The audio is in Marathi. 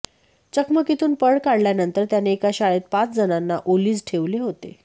चकमकीतून पळ काढल्यावर त्याने एका शाळेत पाच जणांना ओलीस ठेवले होते